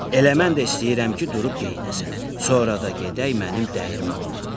Elə mən də istəyirəm ki, durub geyinəsən, sonra da gedək mənim dəyirmanıma.